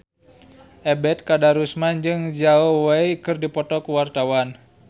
Ebet Kadarusman jeung Zhao Wei keur dipoto ku wartawan